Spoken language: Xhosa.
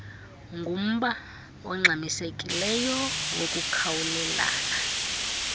ngumba ongxamisekileyo wokukhawulelana